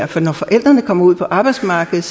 for når forældrene kommer ud på arbejdsmarkedet